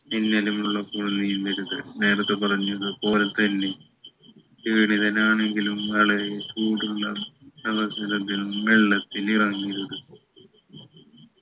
മിന്നലുമുള്ളപ്പോൾ നീന്തരുത് നേരത്തെ പറഞ്ഞത് പോലെ തന്നെ ക്ഷീണിതനാണെങ്കിലും വളരെ ചൂടുള്ള അവസരത്തിലും വെള്ളത്തിൽ ഇറങ്ങരുത്